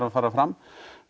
að fara fram